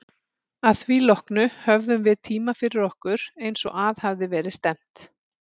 Að því loknu höfðum við tímann fyrir okkur, eins og að hafði verið stefnt.